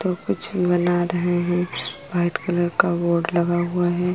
तो कुछ बना रहे हैं। व्हाइट कलर का बोर्ड लगा हुआ है।